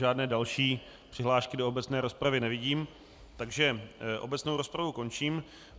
Žádné další přihlášky do obecné rozpravy nevidím, takže obecnou rozpravu končím.